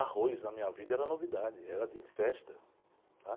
Arroz na minha vida era novidade, era dia de festa. Tá?